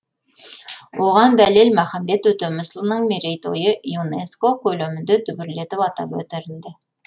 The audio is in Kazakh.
оған дәлел махамбет өтемісұлының мерейтойы юнеско көлемінде дүбірлетіп атап өтілді